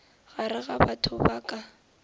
gare ga batho ba ka